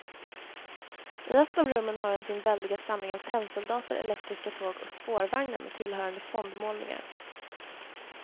I ett av rummen har han sin väldiga samling av tennsoldater, elektriska tåg och spårvagnar med tillhörande fondmålningar.